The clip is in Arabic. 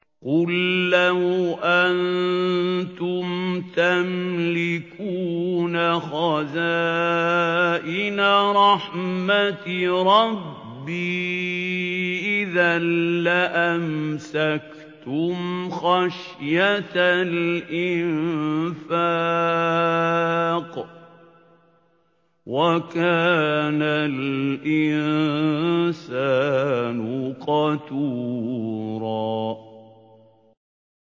قُل لَّوْ أَنتُمْ تَمْلِكُونَ خَزَائِنَ رَحْمَةِ رَبِّي إِذًا لَّأَمْسَكْتُمْ خَشْيَةَ الْإِنفَاقِ ۚ وَكَانَ الْإِنسَانُ قَتُورًا